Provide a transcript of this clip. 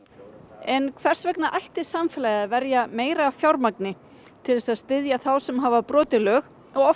en hvers vegna ætti samfélagið að verja meira fjármagni til þess að styðja þá sem hafa brotið lög og oft